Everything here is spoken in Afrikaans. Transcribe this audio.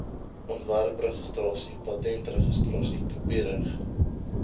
ontwerpregistrasie patentregistrasie kopiereg